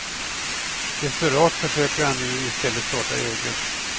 Desperat försöker han nu i stället starta eget.